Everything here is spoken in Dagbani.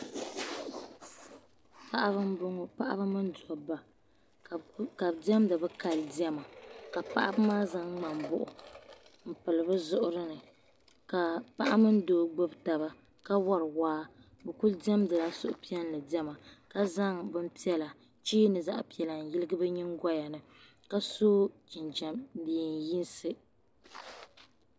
Paɣaba m.bɔŋɔ paɣaba mini dabba ka bɛ diɛmdi bɛ kali diɛma ka paɣaba maa zaŋ ŋmanbuɣu m pili bɛ zuɣuri ni ka paɣa mini doo gbubi taba ka wari waa bɛ kuli diɛmdila suhupiɛlli diɛma ka zaŋ bin piɛlla cheeni zaɣi piɛlla n niŋ bɛ nyingoyani ka so neen yinsi.